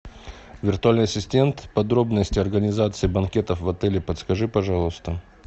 виртуальный ассистент подробности организации банкетов в отеле подскажи пожалуйста